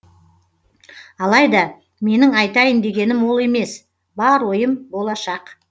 алайда менің айтайын дегенім ол емес бар ойым болашақ